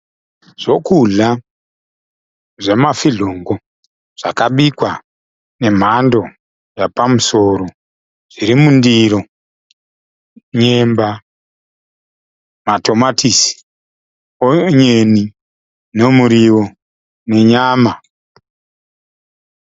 Zvokudya zvemafizhongo zvakabikwa nemhando yapamusoro zviri mundiro. Nyemba, matomatisi, onyeni nemuriwo nenyama.